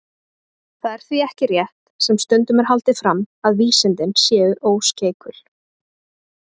Það er því ekki rétt, sem stundum er haldið fram, að vísindin séu óskeikul.